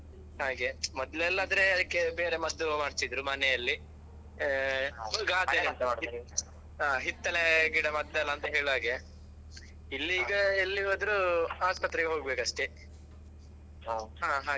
ಹಾಗೆ ಮೊದ್ಲೆಲ್ಲಾ ಆದ್ರೆ ಅದ್ಕೆ ಬೇರೆ ಮದ್ದು ಮಾಡ್ತಿದ್ರು ಮನೆಯಲ್ಲಿ ಆ ಆ ಹಿತ್ತೆಲೆ ಗಿಡ ಮದ್ದಲ್ಲಾ ಅಂತ ಹೇಳುವಾಗೆ ಇಲ್ಲಿ ಈಗ ಎಲ್ಲಿ ಹೋದ್ರು ಆಸ್ಪತ್ರೆಗೆ ಹೋಗ್ಬೇಕಷ್ಟೆ ಹಾ ಹಾಗೆ.